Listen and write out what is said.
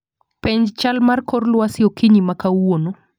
penj chal mar kor lwasi okinyi ma kawuono